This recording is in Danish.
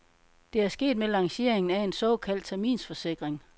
Det er sket med lanceringen af en såkaldt terminsforsikring.